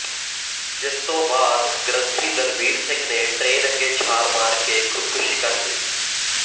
ਜਿਸਤੋਂ ਬਾਅਦ ਗ੍ਰੰਥੀ ਦਲਬੀਰ ਸਿੰਘ ਨੇ ਟਰੇਨ ਅੱਗੇ ਛਾਲ ਮਾਰ ਕੇ ਖੁਦਕੁਸ਼ੀ ਕਰ ਲਈ